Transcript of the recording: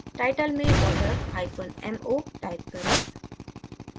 title में watermo type करें